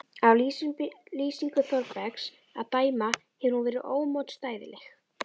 Af lýsingu Þórbergs að dæma hefur hún verið ómótstæðileg.